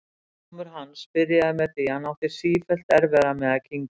Sjúkdómur hans byrjaði með því að hann átti sífellt erfiðara með að kyngja.